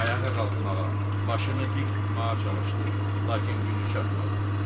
Ayağa qalxmağa, başını dik tutmağa çalışdı, lakin gücü çatmadı.